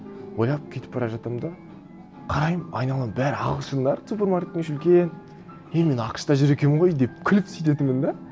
ойлап кетіп бара жатырмын да қараймын айналам бәрі ағылшындар супермаркеттің іші үлкен е мен ақш та жүр екенмін ғой деп күліп сөйтетінмін де